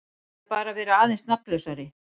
Eða bara vera aðeins nafnlausari.